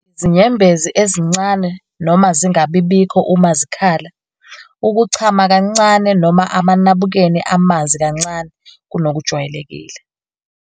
Izinyembezi ezincane noma zingabibikho uma zikhala. Ukuchama kancane noma amanabukeni amanzi amancane kunokujwayelekile.